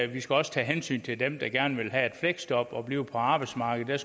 vi skal også tage hensyn til dem der gerne vil have et fleksjob og blive på arbejdsmarkedet